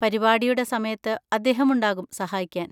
പരിപാടിയുടെ സമയത്ത് അദ്ദേഹം ഉണ്ടാകും സഹായിക്കാൻ.